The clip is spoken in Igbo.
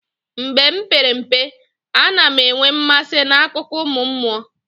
Mgbe m pere mpe, a na m enwe mmasị n'akụkọ ụmụ mmụọ.